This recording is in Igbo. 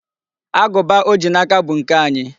Agụba o ji n'aka bụ nke anyị.